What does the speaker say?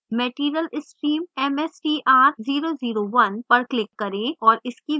material stream mstr001 पर click करें और इसकी विशेषताएं देखें